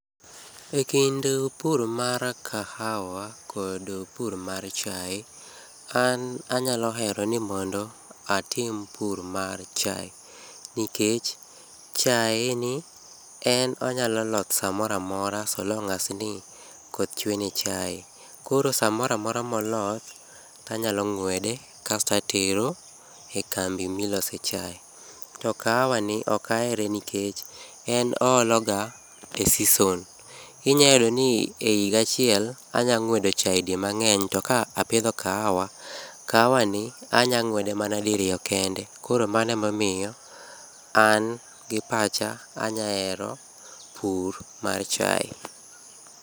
Ekind pur mar kahawa kod pur mar chae, an anyalo hero ni mondo atim pur mar chae. Nikech chaeni en onyalo loth samoro amora so long as ni koth chwe ni chae. Koro samoro amora moloth, tanyalo ng'wede kas tatero e kambi milose chae. To kahawani ok ahere nikech en oologa e season. Inyalo yudo ni ehiga achiel, anyalo ng'wedo chae di mang'eny, to kapidho kahawa, kahawani anyalo ng'wede mana diriyo kende. Koro mano emomiyo an gi pacha, anyalo hero pur mar chae.